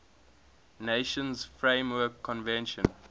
nations framework convention